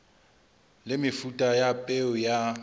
le mefuta ya peo ya